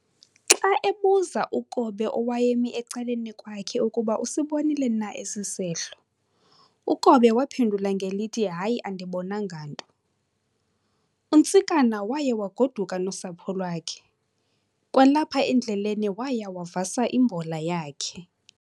Xa ebuza uKobe owayemi ecaleni kwakhe ukuba usibonile na esi sehlo, uKobe waphendula ngelithi hayi andibonanga nto. UNtsikana waya waguduka nosapho lwakhe, kwalapha endleleni waya wavasa imbola yakhe.